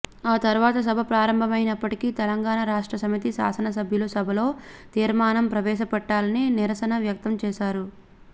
ఆ తర్వాత సభ ప్రారంభమైనప్పటికీ తెలంగాణ రాష్ట్ర సమితి శాసనసభ్యులు సభలో తీర్మానం ప్రవేశ పెట్టాలని నిరసన వ్యక్తం చేశారు